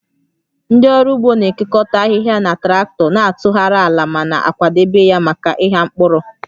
Ndị ọrụ ugbo na-ekekọta ahịhịa na traktọ, na-atụgharị ala ma na-akwadebe ya maka ịgha mkpụrụ